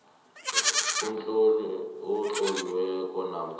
umtlolo otloliweko namkha